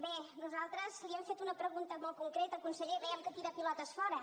bé nosaltres li hem fet una pregunta molt concreta conseller veiem que tira pilotes fora